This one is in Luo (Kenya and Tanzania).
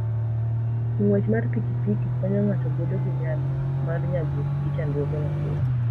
Ng'wech mar pikipiki konyo ng'ato bedo gi nyalo mar nyagruok gi chandruoge mapile.